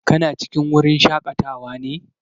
Kana cikin wurin shaƙatawa ne?